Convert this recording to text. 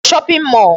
Ị gara shopping mall?